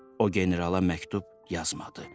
O generala məktub yazmadı.